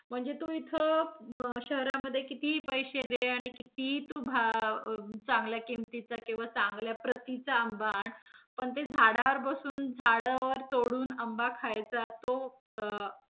म्हणजे तू इथं अं शहरामधे तू कितीही पैसे दे आणि कितीही तू भा~ चांगल्या किंमतीचा किंवा चांगल्या प्रतीचा आंबा आण, पण ते झाडावर बसून झाडावर तोडून आंबा खायचा तो अं